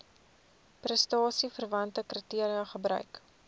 prestasieverwante kriteria gebruik